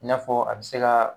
I n'a fɔ a bɛ se ka